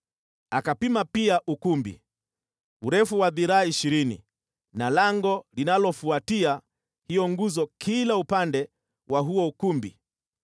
Akapima pia ukumbi, urefu wa dhiraa ishirini na lango linalofuatia hiyo nguzo kila upande wa huo ukumbi.